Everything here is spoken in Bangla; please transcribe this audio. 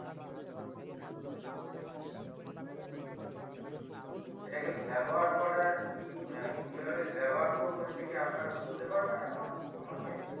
এটাকে ব্যবহার করার কি কিভাবে ব্যবহার করবো এটাকি আপনারা বলতে পারবে এখন আমাকে